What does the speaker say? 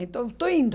Então, estou indo.